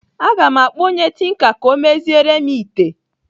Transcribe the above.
Aga m akpọ onye tinka ka ọ meziere m ite.